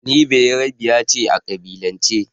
Ni Beyarabiya ce a ƙabilance.